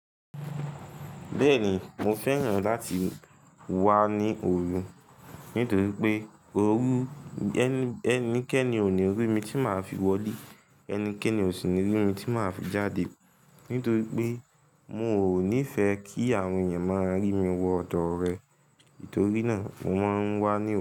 Bẹ́ẹ̀ni, mo fẹ́ràn láti wá ní òru nítorí pé òru, ẹnikẹ́ni ò ní rí mi tí màá fi wọlé, ẹnikẹ́ni ò sì ní rí mi tí màá fi jáde. Nítorí pé, mi ò nífẹ kí àwọn ènìyàn máa rí mi wọ ọ̀dọ̀ rẹ. Nítorí náà mo máa ń wá ní òru.